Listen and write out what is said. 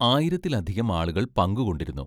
ആയിരത്തിലധികം ആളുകൾ പങ്കുകൊണ്ടിരുന്നു.